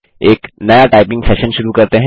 एक नया typing session शुरू करते हैं